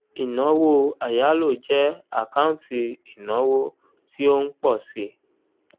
ìnáwó àyálò jẹ àkáǹtì ìnáwó tí ó ń pọ̀ síi